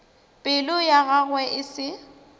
pelo ya gagwe e se